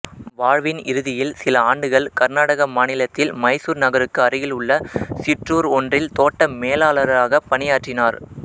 வாழ்வின் இறுதியில் சில ஆண்டுகள் கர்நாடக மாநிலத்தில் மைசூர் நகருக்கு அருகில் உள்ள சிற்றூர் ஒன்றில் தோட்ட மேலாளராகப் பணியாற்றினார்